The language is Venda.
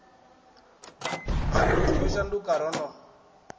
zwithu yo shanduka ro no